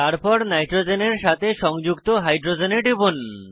তারপর নাইট্রোজেনের সাথে সংযুক্ত হাইড্রোজেনে টিপুন